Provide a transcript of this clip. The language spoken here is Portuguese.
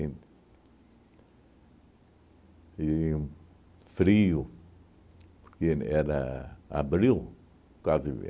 E frio, porque era abril, quase em